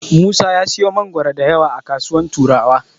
Musa ya siyo mangoro da yawa a kasuwar Turawa.